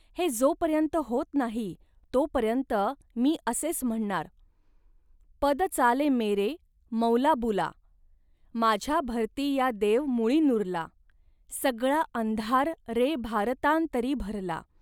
हे जोपर्यंत होत नाही, तो पर्यंत मी असेच म्हणणार. .पद चालमेरे मौलाबुला.माझ्या भारती या देव मुळी नुरला.सगळा अंधार रे भारतांतरि भरला